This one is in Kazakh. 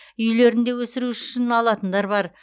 үйлерінде өсіру үшін алатындар бар